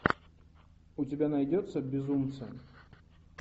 у тебя найдется безумцы